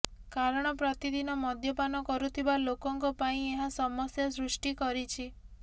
କାରଣ ପ୍ରତିଦିନ ମଦ୍ୟପାନ କରୁଥିବା ଲୋକଙ୍କ ପାଇଁ ଏହା ସମସ୍ୟା ସୃଷ୍ଟି କରିଛି